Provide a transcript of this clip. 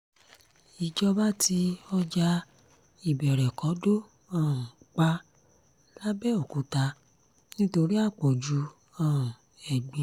ìjọba tí ọjà ìbẹ̀rẹ̀kọ́dọ̀ um pa làbẹ́òkúta nítorí àpọ̀jù um ẹ̀gbin